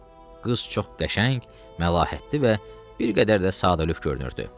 Qız çox qəşəng, məlahətli və bir qədər də sadəlövh görünürdü.